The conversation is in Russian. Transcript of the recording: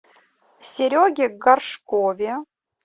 сереге горшкове